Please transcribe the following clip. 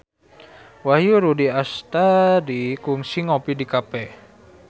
Wahyu Rudi Astadi kungsi ngopi di cafe